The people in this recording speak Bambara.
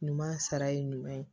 Ɲuman sara ye ɲuman ye